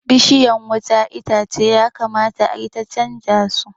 Bishiyan wuta na itace ya kamata ayi ta canja zu